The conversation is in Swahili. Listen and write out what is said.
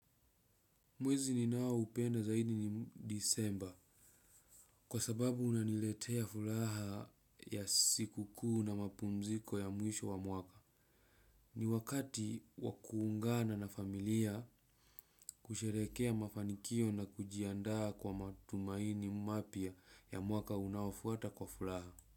Mwezi ninaoupenda zaidi ni disemba kwa sababu unaniletea furaha ya siku kuu na mapumziko ya mwisho wa mwaka. Ni wakati wa kuungana na familia, kusherehekea mafanikio na kujiandaa kwa matumaini mapya ya mwaka unaofuata kwa furaha.